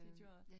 Det gør det